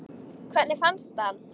Hvernig fannstu hann?